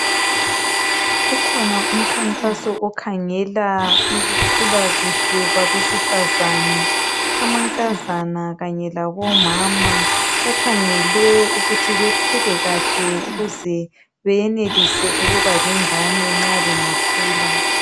Kukhona umkhankaso okhangela ukukhula kuhle kwabesifazane ,amankazana kanye labomama ,bakhangelwe ukuthi bakhule kahle ukuze bayenelise ukuba lengane nxa bangakhula.